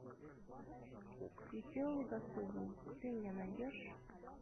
веселый господин ты мне найдешь